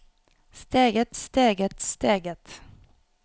steget steget steget